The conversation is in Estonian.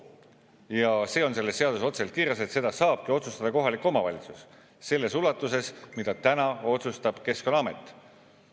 Ja see on selles seaduses otseselt kirjas, et seda saabki otsustada kohalik omavalitsus selles ulatuses, mida täna otsustab Keskkonnaamet.